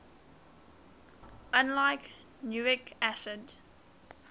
unlike nucleic acids